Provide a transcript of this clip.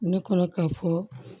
Ne kɔnɔ ka fɔ